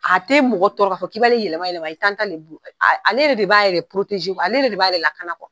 A te mɔgɔ tɔɔrɔ ka fɔ k'i b'ale yɛlɛma yɛlɛma, t'ale bolo, ale yɛrɛ de b'a ale yɛrɛ de b'a yɛrɛ lakana e la .